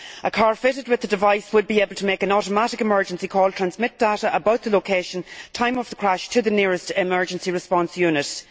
A car fitted with the device would be able to make an automatic emergency call and transmit data about the location and time of the crash to the nearest emergency response unit.